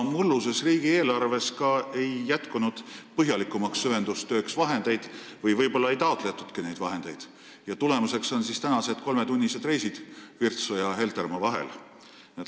Mulluses riigieelarves ei jätkunud samuti raha põhjalikumaks süvendustööks – võib-olla seda ei taotletudki – ja nüüd on tagajärg käes: kolmetunnised reisid Virtsu ja Heltermaa vahel.